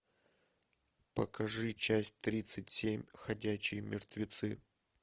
покажи часть тридцать семь ходячие мертвецы